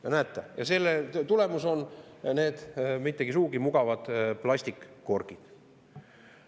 Ja näete, selle tulemus on need mitte sugugi mugavad plastkorgid.